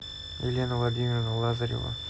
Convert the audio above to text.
елена владимировна лазарева